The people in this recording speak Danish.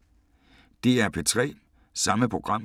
DR P3